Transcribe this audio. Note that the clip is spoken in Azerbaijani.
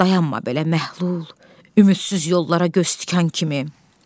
Dayanma belə məhlul, ümidsiz yollara göz tikan kimi.